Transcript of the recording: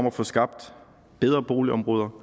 at få skabt bedre boligområder